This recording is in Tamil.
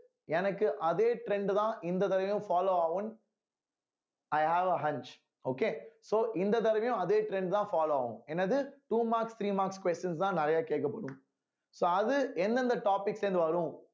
எனக்கு அதே trend உதான் இந்த தடவையும் follow ஆகும் i have a hunch okay இந்த தடவையும் அதே trend தான் follow ஆகும் என்னது two marks three marks questions தான் நிறையா கேட்கப்படும் so அது எந்தெந்த topics ல இருந்து வரும்